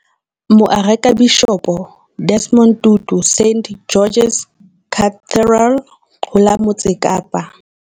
Moarekabishopo Desmond Tutu St George's Cathedral ho la Motse Kapa.